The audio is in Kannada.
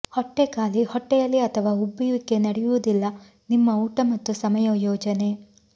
ಹೊಟ್ಟೆ ಖಾಲಿ ಹೊಟ್ಟೆಯಲ್ಲಿ ಅಥವಾ ಉಬ್ಬುವಿಕೆ ನಡೆಯುವುದಿಲ್ಲ ನಿಮ್ಮ ಊಟ ಮತ್ತು ಸಮಯ ಯೋಜನೆ